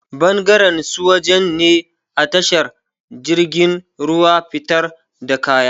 Bangaren su waje ne atsahar jirgin ruwa fitar da kaya